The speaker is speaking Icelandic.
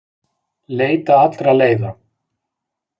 Leita allra leiða